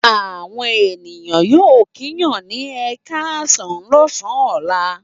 Àwọn ènìyàn yóò kíyàn ní ẹ káàsán lọ́sàn-án ọ̀la.